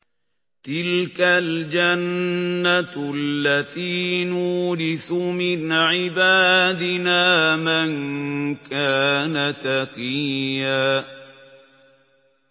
تِلْكَ الْجَنَّةُ الَّتِي نُورِثُ مِنْ عِبَادِنَا مَن كَانَ تَقِيًّا